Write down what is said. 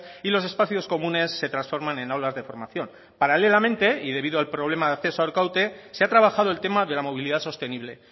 y los espacios comunes se transforman en aulas de formación paralelamente y debido al problema de acceso a arkaute se ha trabajado el tema de la movilidad sostenible